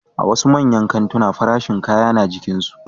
A wasu manyan kantina farashin kaya na jikinsu